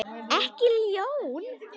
Ekki ljón.